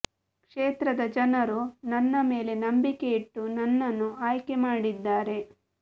ಕ್ಷೇತ್ರದ ಜನರು ನನ್ನ ಮೇಲೆ ನಂಬಿಕೆ ಇಟ್ಟು ನನ್ನನ್ನು ಆಯ್ಕೆ ಮಾಡಿದ್ದಾರೆ